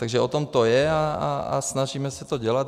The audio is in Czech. Takže o tom to je a snažíme se to dělat.